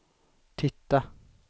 titta